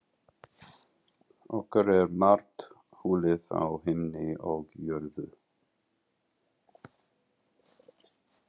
Okkur er margt hulið á himni og jörðu.